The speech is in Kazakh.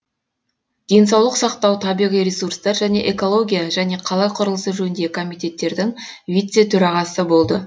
денсаулық сақтау табиғи ресурстар және экология және қала құрылысы жөніндегі комитеттердің вице төрағасы болды